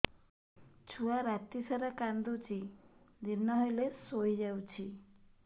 ଛୁଆ ରାତି ସାରା କାନ୍ଦୁଚି ଦିନ ହେଲେ ଶୁଇଯାଉଛି